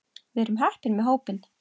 Við erum heppin með hópinn.